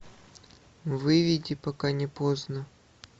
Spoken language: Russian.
выведи пока не поздно